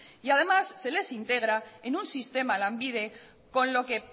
además se les integra en un sistema lanbide con lo que